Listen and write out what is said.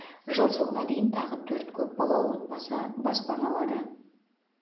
жыл соңына дейін тағы төрт көп балалы отбасы баспана алады